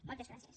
moltes gràcies